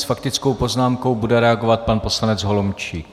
S faktickou poznámkou bude reagovat pan poslanec Holomčík.